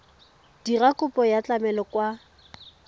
dira kopo ya tlamelo kwa